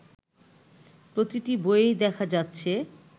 প্রতিটি বইয়েই দেখা যাচ্ছে